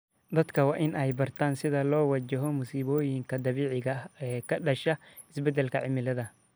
Dadka waa in ay bartaan sida loo wajaho musiibooyinka dabiiciga ah ee ka dhashay isbedelka cimilada.